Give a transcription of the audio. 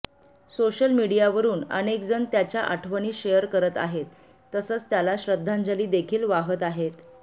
social मीडियावरून अनेकजण त्याच्या आठवणी शेअर करत आहेत तसंच त्याला श्रद्धांजली देखील वाहत आहेत